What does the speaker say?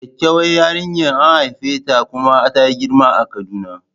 Kyakkyawar yarinya an haifeta kuma ta girma a kaduna.